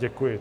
Děkuji.